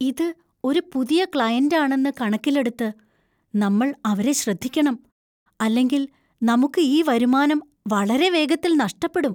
ഇത് ഒരു പുതിയ ക്ലയന്‍റ് ആണെന്ന് കണക്കിലെടുത്ത്, നമ്മൾ അവരെ ശ്രദ്ധിക്കണം, അല്ലെങ്കിൽ നമുക്ക് ഈ വരുമാനം വളരെ വേഗത്തിൽ നഷ്ടപ്പെടും.